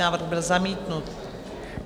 Návrh byl zamítnut.